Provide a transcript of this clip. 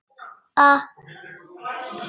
Ég pabbi!